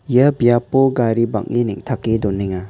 ia biapo gari bang·e neng·take donenga.